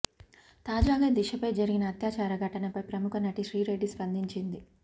తాజాగా దిశాపై జరిగిన అత్యాచార ఘటనపై ప్రముఖ నటి శ్రీరెడ్డి స్పందించింది